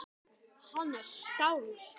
Hann er skáld